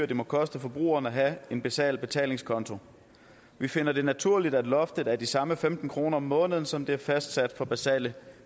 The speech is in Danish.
det må koste forbrugerne at have en basal betalingskonto vi finder det naturligt at loftet er de samme femten kroner om måneden som der er fastsat for basale